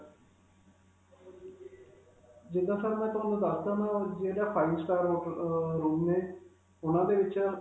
ਜਿੱਦਾਂ sir, ਮੈਂ ਤੁਹਾਨੂੰ ਦਸ ਦਵਾਂਗਾ, ਜਿਹੜਾ five star hotel ਅਅ room ਨੇ ਉਨ੍ਹਾਂ ਦੇ ਵਿਚ.